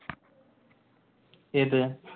ഏത്?